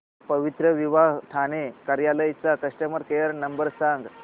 पवित्रविवाह ठाणे कार्यालय चा customer care number सांग